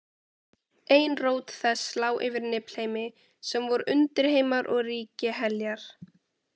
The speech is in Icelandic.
Ein rót þess lá yfir Niflheimi, sem voru undirheimar og ríki Heljar.